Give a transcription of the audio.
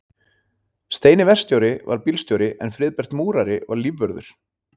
Steini verkstjóri var bílstjóri en Friðbert múrari var lífvörður.